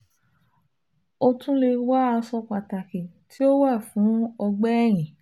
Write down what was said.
O tun le wọ aṣọ pataki ti o wa fun ọgbẹ ẹhin